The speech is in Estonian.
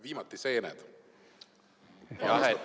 Viimati oli need seened.